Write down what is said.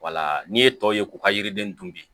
n'i ye tɔw ye k'u ka yiriden dun bi